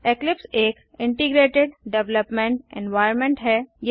Eclipse एक integrated development environment है